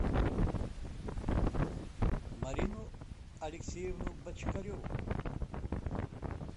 марину алексеевну бочкареву